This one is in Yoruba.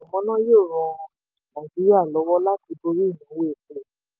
àfikún iná mànàmáná yóò ràn nàìjíríà lọ́wọ́ láti borí ìnáwó epo.